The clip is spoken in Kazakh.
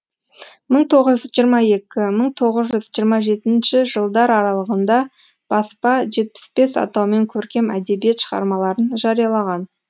мың тоғыз жүз жиырма екі мың тоғыз жүз жиырма жетінші жылдар аралығында баспа жетпіс бес атаумен көркем әдебиет шығармаларын жариялаған